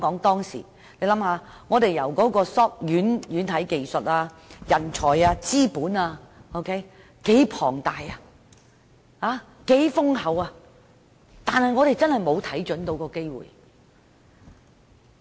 當時香港具備軟件技術和人才、資本龐大，但我們卻沒有看準機會。